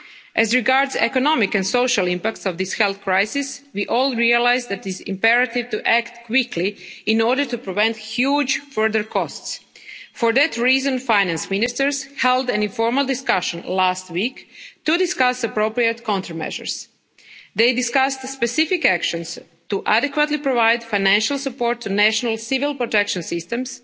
As regards the economic and social impact of this health crisis, we all realise that it is imperative to act quickly in order to prevent huge further costs. For that reason, finance ministers held an informal discussion last week to discuss appropriate countermeasures. They discussed the specific actions to adequately provide financial support to national civil protection